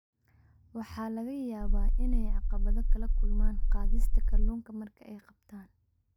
Waxa laga yaabaa inay caqabado kala kulmaan qaadista kalluunka marka ay qabtaan.